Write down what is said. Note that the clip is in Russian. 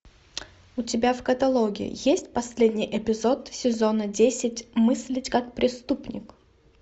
у тебя в каталоге есть последний эпизод сезона десять мыслить как преступник